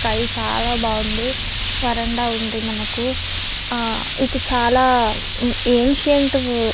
Sky చాల బాగుంది. వరండా ఉంది మనకు. ఆహ్ ఇది చాల ఎంసిఎంట్ --